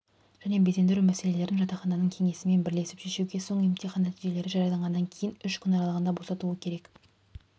және безендіру мәселелерін жатақхананың кеңесімен бірлесіп шешуге соң емтихан нәтижелері жарияланғаннан кейін үш күн аралығында босатуы керек